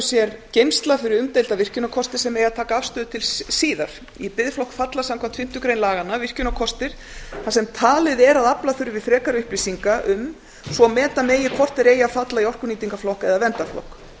sér geymsla fyrir umdeilda virkjunarkosti sem eigi að taka afstöðu til síðar í biðflokk falla samkvæmt fimmtu grein laganna virkjunarkostir þar sem talið er að afla þurfi frekari upplýsinga um svo meta megi hvort þeir eigi að falla í orkunýtingarflokk eða verndarflokk